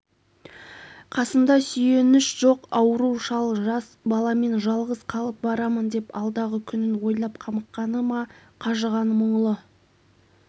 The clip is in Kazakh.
қасымда сүйеніш жоқ ауру шал жас баламен жалғыз қалып барамын деп алдағы күнін ойлап қамыққаны ма қажыған мұңлы